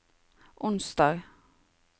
onsdag